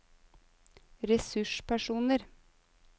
ressurspersoner